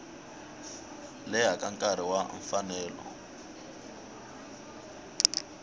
leha ka nkarhi wa mfanelo